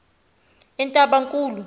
entabankulu